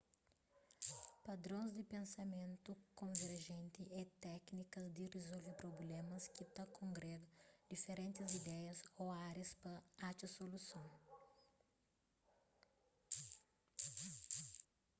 padrons di pensamentu konverjenti é téknikas di rizolve prublémas ki ta kongréga diferentis ideias ô árias pa atxa soluson